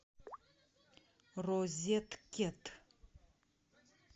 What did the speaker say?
розеткед